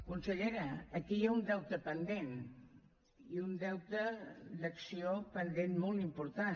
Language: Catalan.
consellera aquí hi ha un deute pendent i un deute d’acció pendent molt important